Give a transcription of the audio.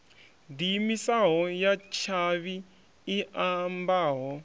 diimisaho ya tshavhi i ambaho